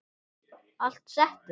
Allt settið